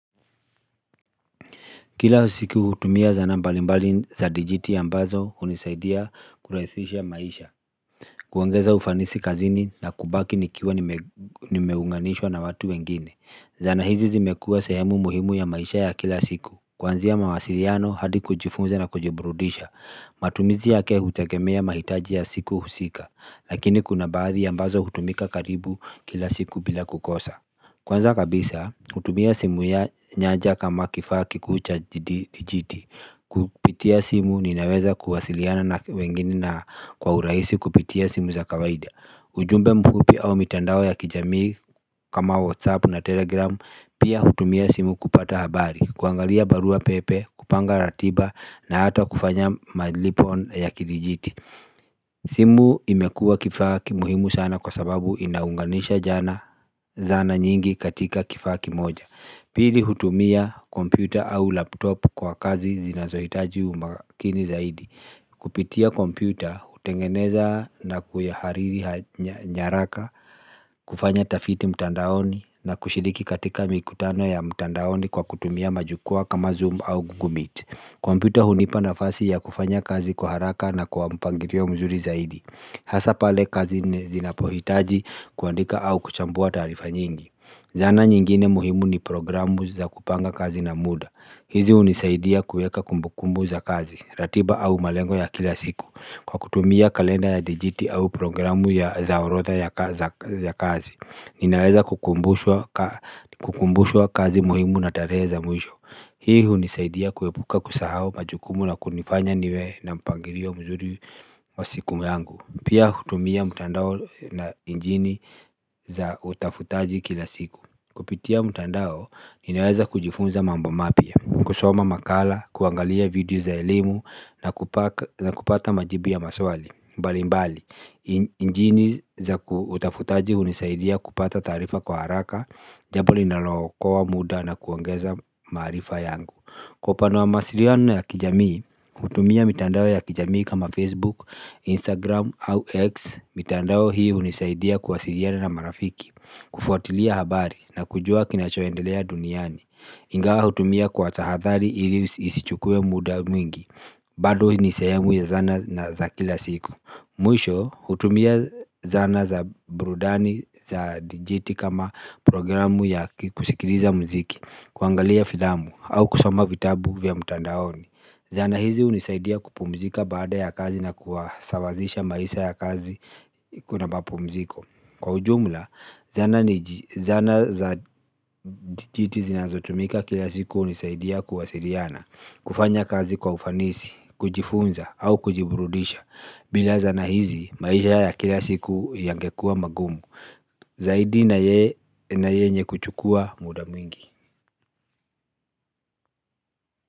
Kila siku hutumia zana mbalimbali za dijiti ambazo hunisaidia kurahisisha maisha. Kuongeza ufanisi kazini na kubaki nikiwa nimeunganishwa na watu wengine Zana hizi zimekua sehemu muhimu ya maisha ya kila siku, kuanzia mawasiliano hadi kujifunza na kujiburudisha matumizi yake hutegemea mahitaji ya siku husika. Lakini kuna baadhi ambazo hutumika karibu kila siku bila kukosa Kwanza kabisa, hutumia simu ya janja kama kifaa kikuu cha dijiti Kupitia simu ninaweza kuwasiliana na wengine na kwa uraisi kupitia simu za kawaida. Ujumbe mfupi au mitandao ya kijamii kama Whatsapp na Telegram. Pia hutumia simu kupata habari, kuangalia barua pepe, kupanga ratiba na hata kufanya malipo ya kidijiti. Simu imekua kifaa muhimu sana kwa sababu inaunganisha jana zana nyingi katika kifaa kimoja Pili hutumia kompyuta au laptop kwa kazi zinazohitaji umakini zaidi. Kupitia kompyuta hutengeneza na kuihariri nyaraka kufanya tafiti mtandaoni, na kushiriki katika mikutano ya mtandaoni kwa kutumia majukwaa kama zoom au google meet. Kompyuta hunipa nafasi ya kufanya kazi kwa haraka na kwa mpangilio mzuri zaidi. Hasa pale kazi zinapohitaji kuandika au kuchambua taarifa nyingi. Zana nyingine muhimu ni programu za kupanga kazi na muda. Hizi hunisaidia kuweka kumbukumbu za kazi, ratiba au malengo ya kila siku kwa kutumia kalenda ya dijiti au programu za orodha ya kazi. Ninaweza kukumbushwa kazi muhimu na tarehe za mwisho. Hii hunisaidia kuepuka kusahau majukumu na kunifanya niwe na mpangilio mzuri wa siku yangu. Pia hutumia mtandao na injini za utafutaji kila siku. Kupitia mtandao ninaweza kujifunza mambo mapya, kusoma makala, kuangalia video za elimu na kupata majibu ya maswali mbali mbali, injini za utafutaji hunisaidia kupata taarifa kwa haraka, Jambo linalo okoa muda na kuongeza maarifa yangu. Kwa upandw wa mawasiliano na ya kijamii hutumia mitandao ya kijamii kama Facebook, Instagram au X. Mitandao hii hunisaidia kuwasiliana na marafiki, kufuatilia habari na kujua kinachoendelea duniani. Ingawa hutumia kwa tahadhari ili isichukue muda mwingi bado hii ni sehemu ya zana na za kila siku. Mwisho hutumia zana za burudani za dijiti kama programu ya kusikiliza mziki, kuangalia filamu au kusoma vitabu vya mtandaoni. Zana hizi hunisaidia kupumzika baada ya kazi na kuwasawazisha maisha ya kazi kuna mapumziko, kwa ujumla zana za dijiti zinazotumika kila siku hunisaidia kuwasiiana, kufanya kazi kwa ufanisi, kujifunza au kujiburudisha. Bila zana hizi, maisha ya kila siku yangekua magumu Zaidi na yenye kuchukua muda mwingi.